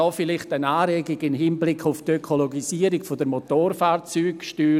Hier vielleicht eine Anregung in Hinblick auf die Ökologisierung der Motorfahrzeugsteuer: